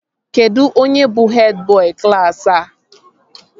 Kedụ onye bụ hed bọị klaasị a?